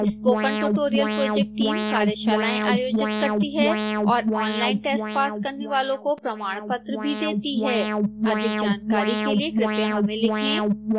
spoken tutorial project team कार्यशालाएं आयोजित करती है और ऑनलाइन टेस्ट पास करने वालों को प्रमाणपत्र भी देती है अधिक जानकारी के लिए कृपया हमें लिखें